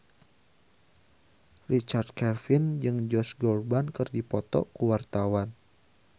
Richard Kevin jeung Josh Groban keur dipoto ku wartawan